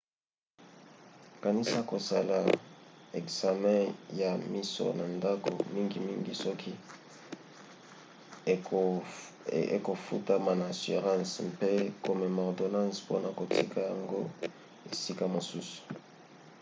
kanisa kosala ekzame ya miso na ndako mingimingi soki ekofutama na assurance mpe komema ordonance mpona kotika yango esika mosusu